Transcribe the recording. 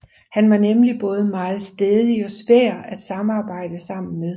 Han var nemlig både meget stædig og svær at arbejde sammen med